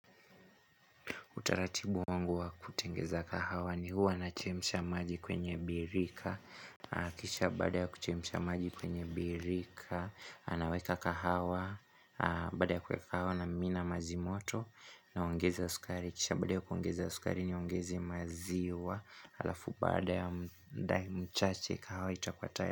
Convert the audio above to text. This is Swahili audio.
Utaratibu wangu wa kutengeza kahawa ni huwa na chemsha maji kwenye birika. Kisha baada ya kuchemsha maji kwenye birika. Anaweka kahawa. Baada ya kuweka kahawa na mimina majimoto. Naongeza sukari. Kisha baada ya kuongeza sukari niongeze maziwa. Alafu baada ya mudai mchache kahawa itakuwa tayari.